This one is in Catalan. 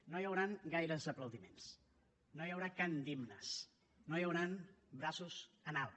no hi hauran gaires aplaudiments no hi haurà cant d’himnes no hi hauran braços en alt